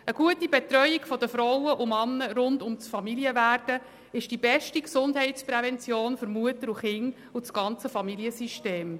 Eine gute Betreuung der Frauen und Männer rund um das Werden einer Familie ist die beste Gesundheitsprävention für Mutter und Kinder und das gesamte Familiensystem.